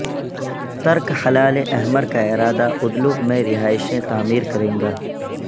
ترک ہلال احمر کا ادارہ ادلب میں رہائشیں تعمیر کریں گا